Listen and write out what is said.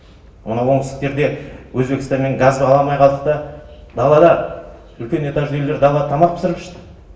анау оңтүстіктерде өзбекстаннан газ ала алмай қалды да далада үлкен этажды үйлер дала тамақ пісіріп ішті